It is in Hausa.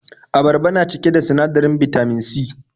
Abarba na cike da sinadarin Bitamin C.